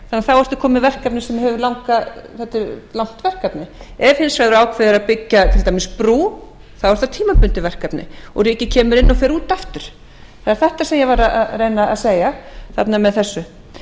hann þá ertu kominn með langt verkefni ef hins vegar ákveðið er að byggja til dæmis brú þá er það tímabundið verkefni og ríkið kemur inn og fer út aftur það er þetta sem ég var að reyna að segja með þessu